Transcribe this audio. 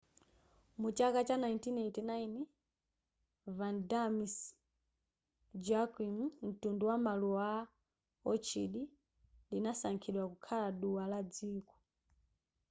mu chaka cha 1981 vanda miss joaquim mtundu wa maluwa a orchid lidasankhidwa kukhala duwa la dziko